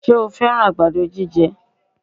Ṣe o fẹ́rán àgbàdo jíjẹ?